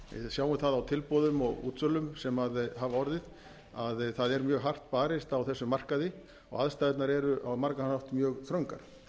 sjáum það á tilboðum og útsölum sem hafa orðið að það er mjög hart barist á þessum markaði og aðstæðurnar eru á margan hátt mjög þröngar